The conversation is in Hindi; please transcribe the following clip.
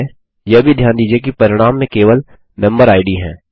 ठीक है यह भी ध्यान दीजिये कि परिणाम में केवल मेम्बेरिड है